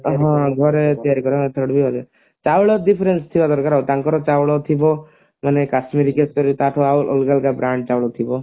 ହଁ ଘରେ ତିଆରି ଚାଉଳ difference ଥିବା ଦରକାର ଆଉ ତାଙ୍କର ଚାଉଳ ଥିବ କାଶ୍ମିରୀ କେସରୀ ତାଠୁ ଆଉ ଅଲଗା ଅଲଗା brand ଚାଉଳ ଥିବ